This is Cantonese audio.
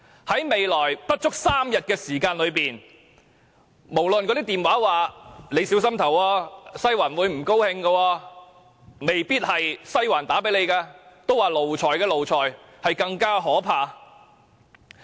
在未來不足3天的時間，可能電話傳來"你要小心投票，'西環'會不高興"，致電的也有可能不是"西環"，因為奴才的奴才更可怕。